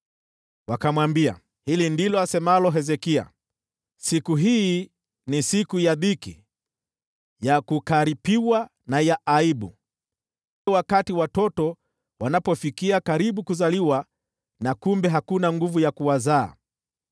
Wakamwambia, “Hili ndilo asemalo Hezekia: Siku hii ni siku ya dhiki, ya kukaripiwa na ya aibu, kama wakati watoto wanapofikia karibu kuzaliwa na kumbe hakuna nguvu ya kuwazaa.